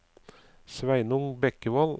Sveinung Bekkevold